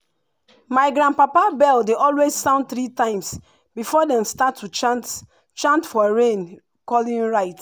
my grandpapa bell dey always sound three times before dem start to chant chant for rain-calling rite.